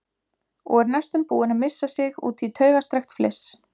Og er næstum búin að missa sig út í taugastrekkt fliss.